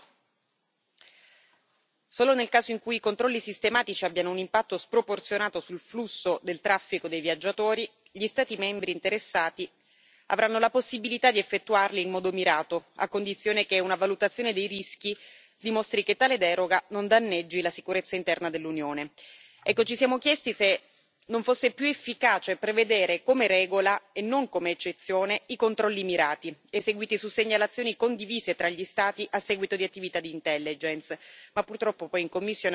Solo nel caso in cui i controlli sistematici abbiano un impatto sproporzionato sul flusso del traffico dei viaggiatori, gli Stati membri interessati avranno la possibilità di effettuarli in modo mirato, a condizione che una valutazione dei rischi dimostri che tale deroga non danneggi la sicurezza interna dell'Unione. Ci siamo chiesti se non fosse più efficace prevedere come regola, e non come eccezione, i controlli mirati, eseguiti su segnalazioni condivise tra gli Stati a seguito di attività di intelligence, ma purtroppo poi in commissione ha prevalso l'opinione contraria.